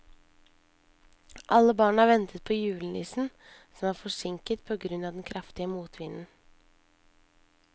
Alle barna ventet på julenissen, som var forsinket på grunn av den kraftige motvinden.